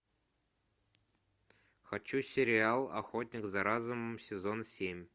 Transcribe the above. хочу сериал охотник за разумом сезон семь